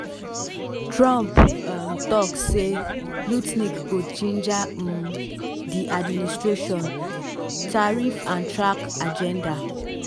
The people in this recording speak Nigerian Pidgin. trump um tok say lutnick go ginger um di administration "tarriff and track agenda.